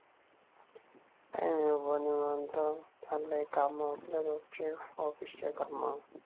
काही नाही बाबा निवांत. चाललेय काम आपले रोजचे ऑफिस चे काम